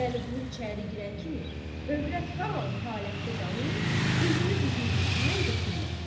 Vəliqulu içəri girən kimi, övrət hamam halətdə qalıb, üzünü dizinin üstündən götürmədi.